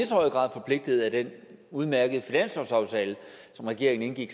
så høj grad forpligtet af den udmærkede finanslovsaftale som regeringen indgik